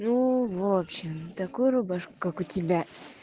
ну в общем такую рубашку как у тебя